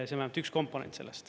See on vähemalt üks komponent selles.